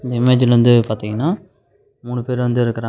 இந்த இமேஜ்ல வந்து பாத்தீங்கனா மூனு பேரு வந்து இருக்கறாங் --